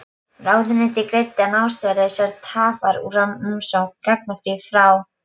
Ráðuneytið greiddi án ástæðulausrar tafar úr umsókn gagnáfrýjanda frá